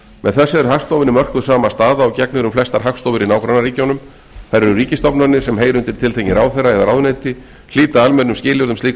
með þessu er hagstofunni mörkuð sama staða og gegnir um flestar hagstofur í nágrannaríkjunum þær eru ríkisstofnanir sem heyra undir tiltekinn ráðherra eða ráðuneyti hlíta almennum skilyrðum slíkra